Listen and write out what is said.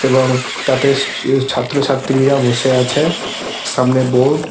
এবং তাতে ছাত্রছাত্রীরা বসে আছে সামনে বোর্ড --